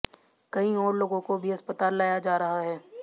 कई और लोगों को भी अस्पताल लाया जा रहा है